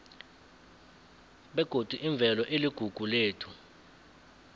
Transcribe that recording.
begodi imvelo iligugu lethu